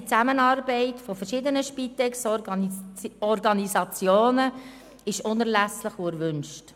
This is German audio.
Eine vernetzte Zusammenarbeit verschiedener Spitex-Organisationen ist unerlässlich und erwünscht.